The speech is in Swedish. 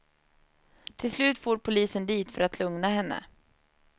Till slut for polisen dit för att lugna henne.